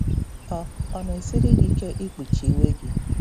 Ọ Ọ na-esiri gị ike ikpuchi iwe um gị?